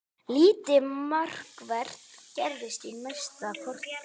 Lítið markvert gerðist næsta korterið.